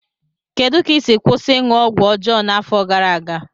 Kedu ka ị si kwụsị ịṅụ ọgwụ ọjọọ n'afọ gara aga?